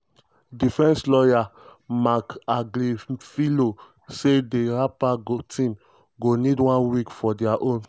defence lawyer marc agnifilo say di rapper team go need one week for dia own.